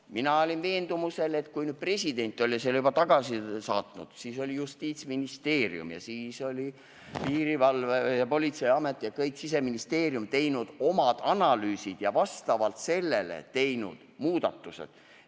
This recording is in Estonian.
Mina olin veendumusel, et kui president selle juba tagasi saatis, siis olid Justiitsministeerium, Politsei- ja Piirivalveamet ning Siseministeerium teinud oma analüüsid ja vastavalt sellele ka muudatused.